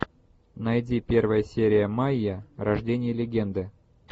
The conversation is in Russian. найди первая серия майя рождение легенды